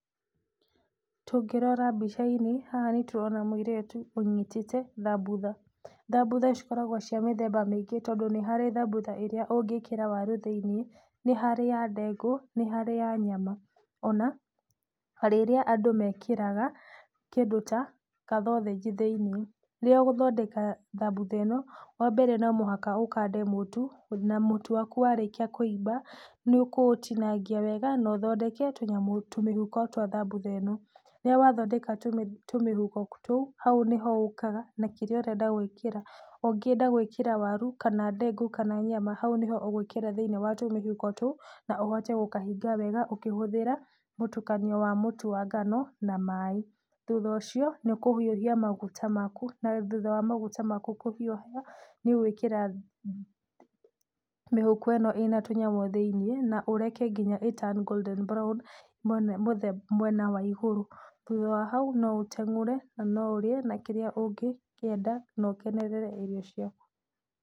Tũngĩrora mbica-inĩ haha nĩtũrona mũirĩtu ũnyitĩte thambutha, thambutha cikoragwa cia mĩthemba mĩingĩ, tondũ nĩ harĩ thambutha ĩrĩa ũngĩkĩra waru thĩiniĩ, nĩ harĩ ya ndengũ, nĩ harĩ ya nyama, ona rĩrĩa andũ mekĩraga kĩndu ta kathothĩnji thĩiniĩ. Rĩrĩa ũgũthondeka thabutha ĩno, wa mbere, nonginya ũkande mũtu na mũtu waku warĩkia kũimba, nĩũkũũtinangia wega na ũthondeke tũnyamũ, tũmĩhuko twa thambutha ĩno. Rĩrĩa wathondeka tũmĩhuko tũu, hau nĩho ũkaga na kĩrĩa ũrenda gũĩkĩra, ũngĩenda gwĩkĩra waru, kana ndengũ kana nyama hau nĩho ũgwĩkĩra thĩiniĩ wa tũmĩhuko tũu, na ũhote gũkahinga wega ũkĩhũthĩra mũtukanio wa mũtu wa ngano na maĩ. Thutha ũcio nĩũkũhiũhia maguta maku, na thutha ma maguta maku kũhiũha nĩũgwĩkĩra mĩhuko ĩno ĩna tũnyamũ thĩiniĩ na ũreke nginya ĩ turn golden brown mwena wa igũrũ, thutha wa hau no ũtengũre na no ũrĩe na kĩrĩa ũngĩkĩenda na ũkenerere irio ciaku.